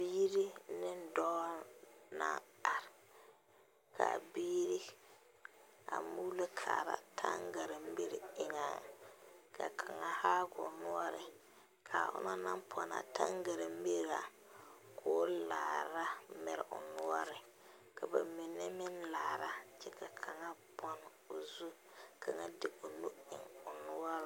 Biiri ne dɔɔ la are ka a biiri muulo kaara taŋɡaremiri eŋɛ ka kaŋa haa o noɔre ka onaŋ pɔne a taŋɡaremiri ka o laara a mere o noɔre ka ba mine meŋ laara ka kaŋa pɔne o zu ka kaŋa de o nu eŋ o noɔreŋ.